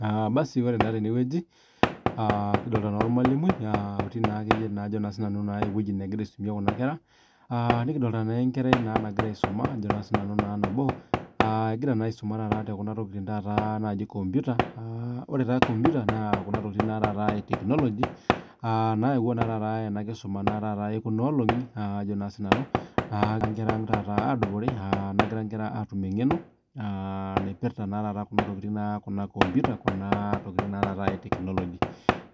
Aa Basi ore na tenewueji aa kidolta na ormalimui otii na ewueji nagira aisumie kuna kera nikidolta na enkerai nagira aisuma nabo egira na aisuma tekuna tokitin naji nkomputa na nayawua enakisuma ekuna olongi nagira nkera aang atum engeno aa naipirta kuna komputa kuna tokitin e technology